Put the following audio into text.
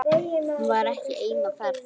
Hún var ekki ein á ferð.